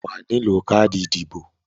Wàá nílò káàdì ìdìbò